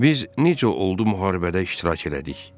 Biz necə oldu müharibədə iştirak elədik?